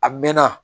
A mɛn na